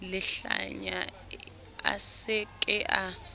lehlanya a se ke a